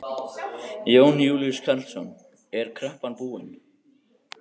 Jón Júlíus Karlsson: Er kreppan búin?